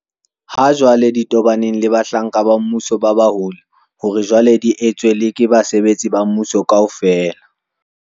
ha jwale di tobaneng le bahlanka ba mmuso ba baholo hore jwale di etswe le ke basebetsi ba mmuso kaofela.